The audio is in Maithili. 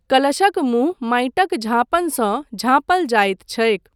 कलशक मुँह माटिक झाँपनसँ झाँपल जायत छैक।